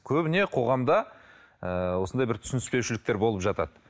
көбіне қоғамда ыыы осындай бір түсінбеушіліктер болып жатады